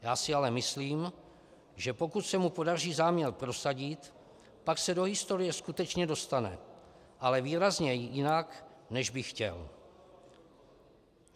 Já si ale myslím, že pokud se mu podaří záměr prosadit, pak se do historie skutečně dostane, ale výrazně jinak, než by chtěl.